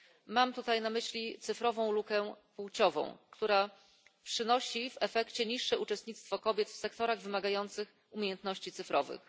Mam tutaj na myśli lukę cyfrową związaną z płcią, która przynosi w efekcie niższe uczestnictwo kobiet w sektorach wymagających umiejętności cyfrowych.